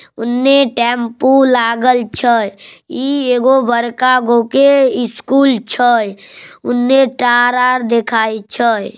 उन्ने टेम्पू लागल छय ई एगो बड़का गो के स्कूल छय उन्ने तार-आर दिखाई देखाई छय ।